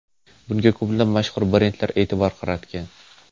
Bunga ko‘plab mashhur brendlar e’tibor qaratgan.